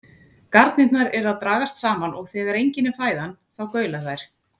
Garnirnar eru að dragast saman og þegar engin er fæðan þá gaula þær.